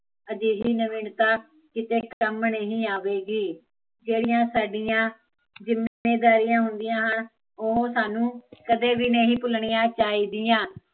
ਅਜਿਹੀ ਨਵੀਨਤਾ ਕਿਤੇ ਵੀ ਕੰਮ ਨਹੀਂ ਆਵੇਗੀ ਜਿਹੜੀਆ ਸਾਡੀਆ, ਜਿੱਮੇਦਾਰੀਆ ਹੁੰਦੀਆ ਹਨ, ਉਹ ਸਾਨੂੰ, ਕਦੇ ਵੀ ਨਹੀਂ ਭੁੱਲਣੀਆ ਚਾਹੀਦੀਆ